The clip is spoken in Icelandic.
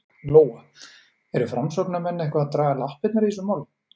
Lóa: Eru framsóknarmenn eitthvað að draga lappirnar í þessu máli?